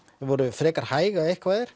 þau voru frekar hæg ef eitthvað er